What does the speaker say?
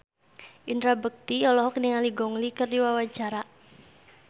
Indra Bekti olohok ningali Gong Li keur diwawancara